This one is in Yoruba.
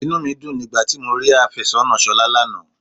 Inú mi dùn nígbà tí mo rí afésónà Ṣolá lánàá.